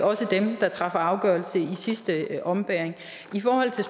også dem der træffer afgørelse i sidste ombæring i forhold til